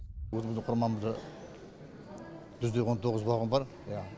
өзіміздің құрамамызда жүз де он тоғыз вагон бар иә